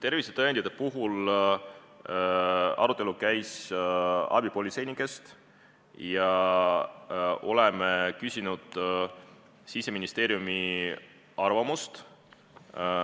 Tervisetõendite puhul käis arutelu abipolitseinike teemal ja me küsisime Siseministeeriumi arvamust.